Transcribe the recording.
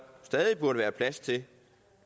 stadig burde være plads til